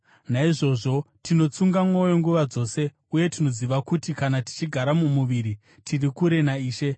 Naizvozvo tinotsunga mwoyo nguva dzose uye tinoziva kuti kana tichigara mumuviri, tiri kure naIshe.